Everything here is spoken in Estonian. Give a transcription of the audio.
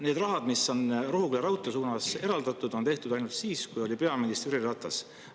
Need rahad, mis on Rohuküla raudtee jaoks eraldatud, on siis, kui peaminister oli Jüri Ratas.